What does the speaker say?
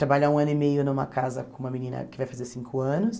Trabalho há um ano e meio numa casa com uma menina que vai fazer cinco anos.